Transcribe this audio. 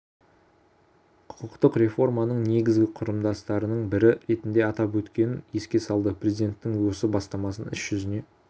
құқықтық реформаның негізгі құрамдастарының бірі ретінде атап өткенін еске салды президенттің осы бастамасын іс жүзіне